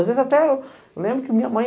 Às vezes até eu lembro que minha mãe...